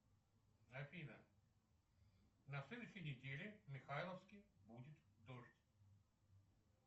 афина на следующей неделе в михайловске будет дождь